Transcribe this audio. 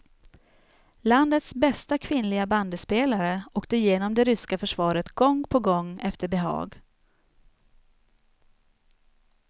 Landets bästa kvinnliga bandyspelare åkte genom det ryska försvaret gång på gång efter behag.